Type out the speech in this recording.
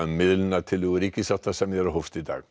um miðlunartillögu ríkissáttasemjara í dag